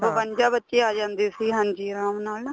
ਬਵੰਜਾ ਬੱਚੇ ਆ ਜਾਂਦੇ ਸੀ ਹਾਂਜੀ ਆਰਾਮ ਨਾਲ ਨਾ